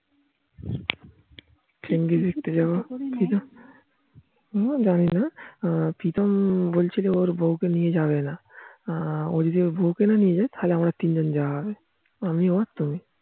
Genghis দেখতে যাবো ও জানি না প্রীতম বলছিল ওর বৌ কে নিয়ে যাবে না ও যদি ওর বৌ কে না নিয়ে যায়, তাহলে আমাদের তিনজন যাওয়া হবে